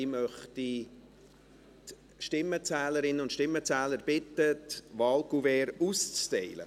Ich möchte die Stimmenzählerinnen und Stimmenzähler bitten, die Wahlkuverts auszuteilen.